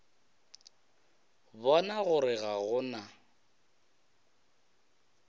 bona gore ga go na